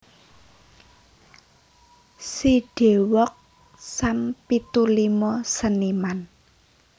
Sidewalk Sam pitu limo seniman